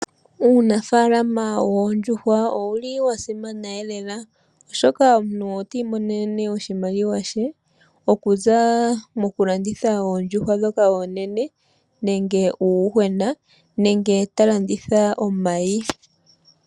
Uunafaalama woondjuhwa owuli wa simana eelela oshoka omuntu oti imonene oshimaliwa she okuza mokulanditha oondjuhwa ndhoka oonene, nenge uuyuhwena nenge ta landitha omayi.